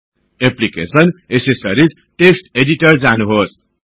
application gedit accessories gedit text editor जानुहोस्